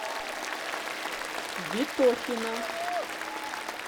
ветохина